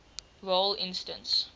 role instance